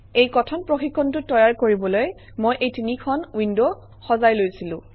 এই কথন প্ৰশিক্ষণটো তৈয়াৰ কৰিবলৈ মই এই তিনিখন উইণ্ড সজাই লৈছিলো